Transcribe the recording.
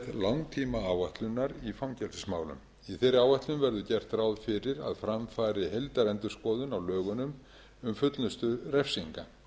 langtímaáætlunar í fangelsismálum í þeirri áætlun er gert ráð fyrir að fram fari heildarendurskoðun á lögunum um fullnustu refsinga